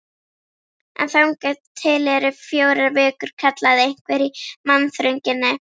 En þangað til eru fjórar vikur, kallaði einhver í mannþrönginni.